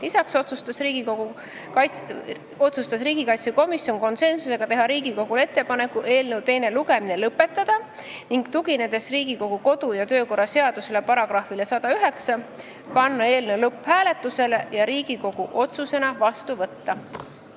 Lisaks otsustas komisjon konsensusega teha ettepaneku eelnõu teine lugemine lõpetada ning tuginedes Riigikogu kodu- ja töökorra seaduse §-le 109 panna eelnõu lõpphääletusele ja Riigikogu otsusena vastu võtta.